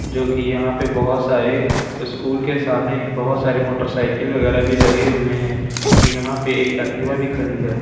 जो कि यहां पे बहोत सारे स्कूल के सामने ही बहोत सारी मोटरसाइकिल वगैरह भी लगे हुए हैं और यहां पे एक एक्टिवा भी खड़ी है।